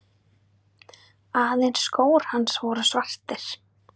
Aðeins skór hans voru svartir.